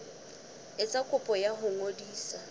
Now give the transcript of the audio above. etsa kopo ya ho ngodisa